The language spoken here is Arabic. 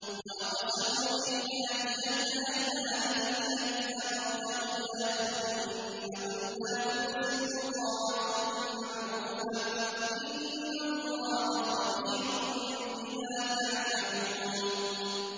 ۞ وَأَقْسَمُوا بِاللَّهِ جَهْدَ أَيْمَانِهِمْ لَئِنْ أَمَرْتَهُمْ لَيَخْرُجُنَّ ۖ قُل لَّا تُقْسِمُوا ۖ طَاعَةٌ مَّعْرُوفَةٌ ۚ إِنَّ اللَّهَ خَبِيرٌ بِمَا تَعْمَلُونَ